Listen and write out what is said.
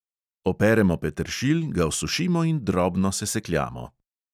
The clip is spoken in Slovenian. Operemo peteršilj, ga osušimo in drobno sesekljamo.